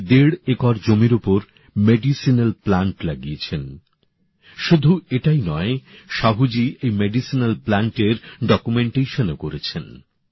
উনি দেড় একর জমির উপর ভেষজ গাছ লাগিয়েছেন শুধু তাই নয় সাহুজি এই ভেষজ গাছের তথ্য নথীভুক্তির কাজও করেছেন